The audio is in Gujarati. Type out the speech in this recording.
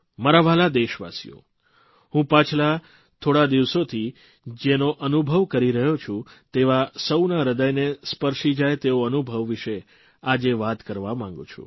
મારા વ્હાલા દેશવાસીઓ હું પાછલા થોડા દિવસોથી જેનો અનુભવ કરી રહ્યો છું તેવા સૌના હૃદયને સ્પર્શી જાય તેવો અનુભવ વિશે આજે વાત કરવા માંગું છું